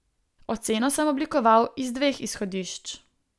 Oceno sem oblikoval iz dveh izhodišč.